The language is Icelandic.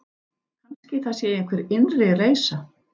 Kannski það sé einhver innri reisa.